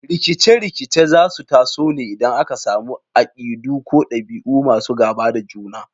Rikice-rikice za su taso ne idan aka samu akidu ko dabi’u masu gaba da juna.